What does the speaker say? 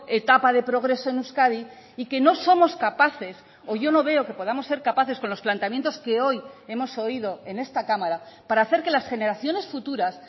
etapa de progreso en euskadi y que no somos capaces o yo no veo que podamos ser capaces con los planteamientos que hoy hemos oído en esta cámara para hacer que las generaciones futuras